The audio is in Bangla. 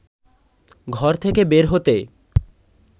ঘর থেকে বের হতে